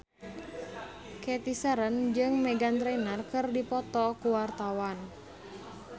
Cathy Sharon jeung Meghan Trainor keur dipoto ku wartawan